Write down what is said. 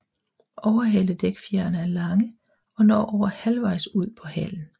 Overhaledækfjerene er lange og når over halvvejs ud på halen